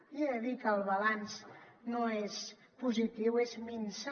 li he de dir que el balanç no és positiu és minso